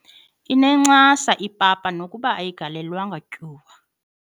Inencasa ipapa nokuba ayigalelwanga tyuwa.